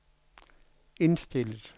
indstillet